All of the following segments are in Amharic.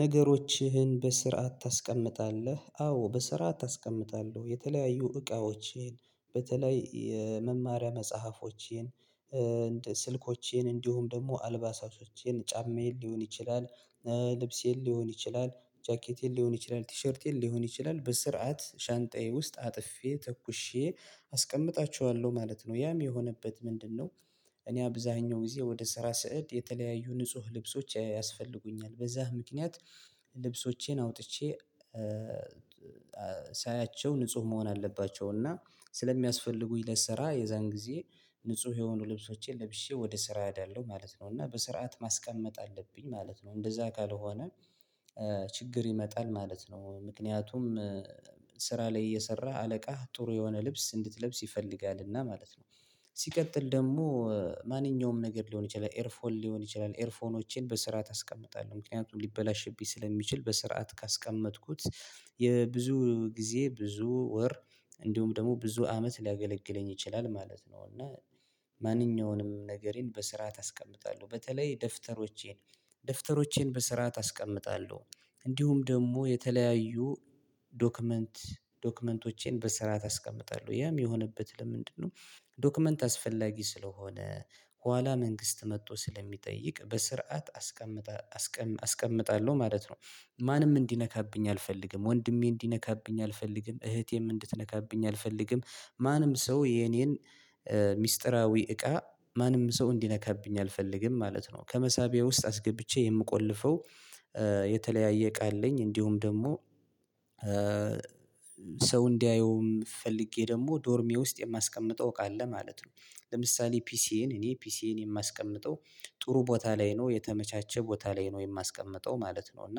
ነገሮችህን በስርዓት ታስቀምጣለህ አዎ በስርዓት አስቀምጣለሁ የተለያዩ እቃዎቼን በተለይ የመማሪያ መጽሐፎቼን ስልኮቼን እንዲሁም ደግሞ አልባሳቶቼን ጫማዬን ሊሆን ይችላል ልብሴን ሊሆን ይችላል ጃኬቴን ሊሆን ይችላል ቲሸርቴን ሊሆን ይችላል በስርዓት ሻንጣዬ ውስጥ አጥፌ ተኩሼ አስቀምጣችኋለሁ ማለት ነው። ያም የሆነበት ምንድነው? እኔ አብዛኛው ጊዜ ወደ ስራ ስሄድ የተለያዩ ንጹህ ልብሶች ያስፈልጉኛል በዛ ምክንያት ልብሶቼን አውጥቼ ሳያቸው ንጹህ መሆን አለባቸው። እና ስለሚያስፈልጉኝ ለስራ የዛን ጊዜ ንጹህ የሆኑ ልብሶቼን ለብሼ ወደ ስራ እሄዳለሁ ማለት ነው። እና በስርዓት ማስቀመጥ አለብኝ ማለት ነው። እንደዛ ካልሆነ ችግር ይመጣል ማለት ነው። ምክንያቱም ስራ ላይ እየሰራ አለቃህ ጥሩ የሆነ ልብስ እንድትለብስ ይፈልጋልና ማለት ነው። ሲቀጥል ደግሞ ማንኛውም ነገር ሊሆን ይችላል ኤርፎን ሊሆን ይችላል ኤርፎኖችን በስርዓት አስቀምጣለው ምክንያቱም ሊበላሽብኝ ስለሚችል በስርዓት ካስቀመጥኩት የብዙ ጊዜ ብዙ ወር እንዲሁም ደግሞ ብዙ አመት ሊያገለግለኝ ይችላል ማለት ነው። እና ማንኛውንም ነገሬን በስራ አስቀምጣለሁ በተለይ ደፍተሮቼን ደፍተሮቼን በስርዓት አስቀምጣለሁ እንዲሁም ደግሞ የተለያዩ ዶክመንት ዶክመንቶቼን በስርዓት አስቀምጣለሁ። ያም የሆነበት ለምንድነው? ዶክመንት አስፈላጊ ስለሆነ ኋላ መንግስት መጥቶ ስለሚጠይቅ በስርዓት አስቀምጠ አስቀምጣለሁ ማለት ነው። ማንም እንዲነካብኝ አልፈልግም ወንድሜ እንዲነካብኝ አልፈልግም እህቴም እንድትነካብኝ አልፈልግም። ማንም ሰው የኔን ሚስጥራዊ እቃ ማንም ሰው እንዲነካብኝ አልፈልግም ማለት ነው። ከመሳቢያ ውስጥ አስገብቼ የምቆልፈው የተለያየ እቃ አለኝ። እንዲሁም ደግሞ ሰው እንዲያየው ፈልጌ ደግሞ ዶርሜ ውስጥ የማስቀምጠው እቃ አለ ማለት ነው። ለምሳሌ ፒሲዬን እኔ ፒሲዬን የማስቀምጠው ጥሩ ቦታ ላይ ነው የተመቻቸ ቦታ ላይ ነው የማስቀምጠው ማለት ነው። እና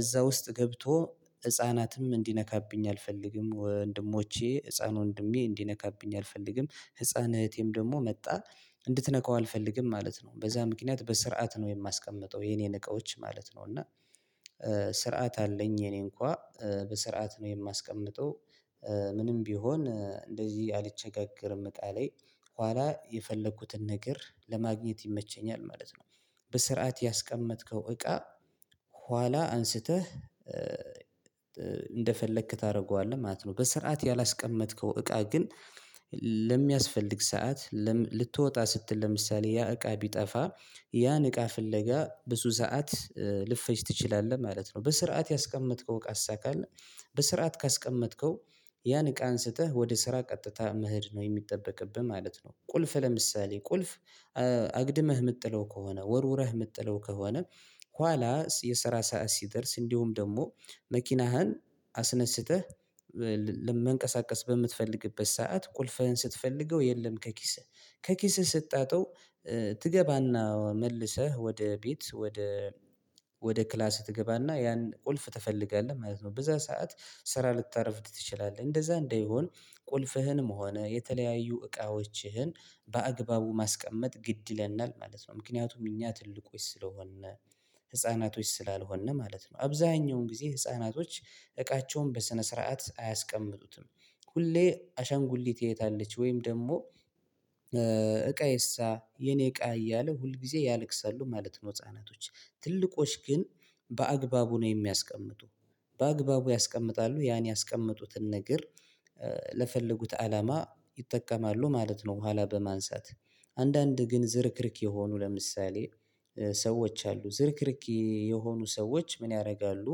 እዛ ውስጥ ገብቶ ህፃናትም እንዲነካብኝ አልፈልግም ወንድሞቼ ህፃን ወንድሜ እንዲነካብኝ አልፈልግም ህፃን እህቴም ደግሞ መጥታ እንድትነካው አልፈልግም ማለት ነው። በዛ ምክንያት በስርዓት ነው የማስቀምጠው የኔን እቃዎች ማለት ነው። እና ስርዓት አለኝ የኔ እንኳን በስርዓት ነው የማስቀምጠው። ምንም ቢሆን እንደዚህ አልቸጋገርም እቃ ላይ ኋላ የፈለኩትን ነገር ለማግኘት ይመቸኛል ማለት ነው። በስርዓት ያስቀመጥከው እቃ ኋላ አንስተህ እንደፈለክ ታደርገዋለህ ማለት ነው። በስርዓት ያላስቀመጥከው እቃ ግን ለሚያስፈልግ ሰዓት ልትወጣ ስትል ለምሳሌ ያ እቃ ቢጠፋ ያን እቃ ፍለጋ ብዙ ሰዓት ልትፍጅ ትችላለህ ማለት ነው። በስርዓት ያስቀመጥከው እቃ ካለ በስርዓት ካስቀመጥከው ያን እቃ አንስተህ ወደ ስራ ቀጥታ መሄድ ነው የሚጠበቅብህ ማለት ነው። ቁልፍ ለምሳሌ ቁልፍ አግድመህ የምትጥለው ከሆነ ወርውረህ የምትጥለው ከሆነ ኋላ የሰራ ሰዓት ሲደርስ እንዲሁም ደግሞ መኪናህን አስነስተህ መንቀሳቀስ በምትፈልግበት ሰዓት ቁልፍህን ስትፈልገው የለም ከኪስህ ከኪስህ ስታጠው ትገባና መልሰህ ወደ ቤት ወደ ወደ ክላስ ትገባና ያን ቁልፍ ትፈልጋለህ ማለት ነው። በዛ ሰዓት ስራ ልታረፍድ ትችላለህ እንደዛ እንደሆን ቁልፍህንም ሆነ የተለያዩ እቃዎችህን በአግባቡ ማስቀመጥ ግድ ይለናል ማለት ነው። ምክንያቱም እኛ ትልቆች ስለሆነ ህፃናቶች ስላልሆንን ማለት ነው። አብዛኛውን ጊዜ ህፃናቶች እቃቸውን በስነ ስርዓት አያስቀምጡትም ሁሌ አሻንጉሊት የት አለች ወይም ደግሞ እቃዬሳ የኔ እቃ እያለ ሁል ጊዜ ያለቅሳሉ ማለት ነው። ህፃናቶች ትልቆች ግን በአግባቡ ነው የሚያስቀምጡ በአግባቡ ያስቀምጣሉ ያን ያስቀመጡትን ነገር ለፈለጉት አላማ ይጠቀማሉ ማለት ነው። በኋላ በማንሳት አንዳንድ ግን ዝርክርክ የሆኑ ለምሳሌ ሰዎች አሉ ዝርክርክ የሆኑ ሰዎች ምን ያደርጋሉ?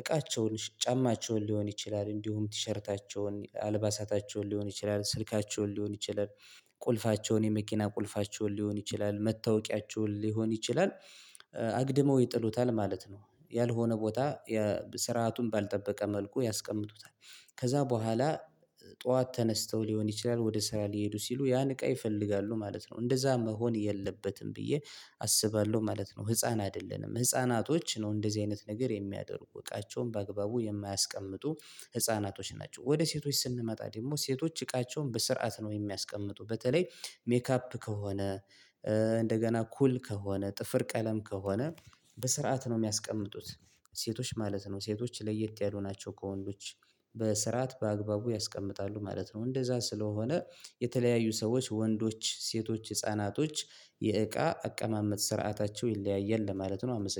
እቃቸውን ጫማቸውን ሊሆን ይችላል እንዲሁም ቲሸርታቸውን አልባሳታቸውን ሊሆን ይችላል ስልካቸውን ሊሆን ይችላል ቁልፋቸውን የመኪና ቁልፋቸውን ሊሆን ይችላል መታወቂያቸውን ሊሆን ይችላል አግድመው ይጥሉታል ማለት ነው። ያልሆነ ቦታ የ ስርዓቱን ባልጠበቀ መልኩ ያስቀምጡታል ከዛ በኋላ ጠዋት ተነስተው ሊሆን ይችላል ወደ ስራ ሊሄዱ ሲሉ ያን እቃ ይፈልጋሉ ማለት ነው። እንደዛ መሆን የለበትም ብዬ አስባለሁ ማለት ነው። ህፃን አይደለንም ህፃናቶች ነው እንደዚህ አይነት ነገር የሚያደርጉ እቃቸውን በአግባቡ የማያስቀምጡ ህፃናቶች ናቸው። ወደ ሴቶች ስንመጣ ደግሞ ሴቶች እቃቸውን በስርዓት ነው የሚያስቀምጡ በተለይ ሜካፕ ከሆነ እንደገና ኩል ከሆነ ጥፍር ቀለም ከሆነ በስርዓት ነው የሚያስቀምጡት ሴቶች ማለት ነው። ሴቶች ለየት ያሉ ናቸው ከወንዶች በስርዓት በአግባቡ ያስቀምጣሉ ማለት ነው። እንደዛ ስለሆነ የተለያዩ ሰዎች ወንዶች ሴቶች ህፃናቶች የእቃ አቀማመጥ ስርዓታቸው ይለያያል ለማለት ነው። አመሰግናለሁ